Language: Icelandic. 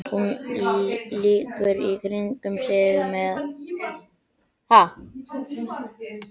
Hún lítur í kringum sig meðan hann lætur dæluna ganga.